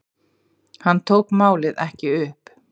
Hann tók málið ekki upp.